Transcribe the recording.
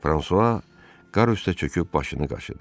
Fransua qapı üstə çöküb başını qaşıdı.